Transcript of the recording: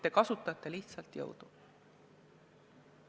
Te kasutate lihtsalt jõudu.